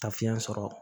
Taa fiɲɛ sɔrɔ